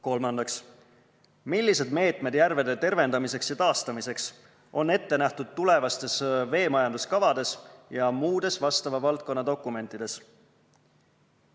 Kolmandaks, millised meetmed järvede tervendamiseks ja taastamiseks on ette nähtud tulevastes veemajanduskavades ja muudes vastava valdkonna dokumentides?